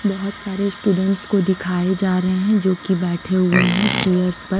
बहुत सारे स्टूडेंट्स को दिखाए जा रहे हैं जो कि बैठे हुए हैं चेयर्स प--